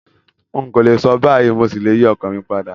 N kòlè so báyìí, mo ṣí le yi ọkan mi padà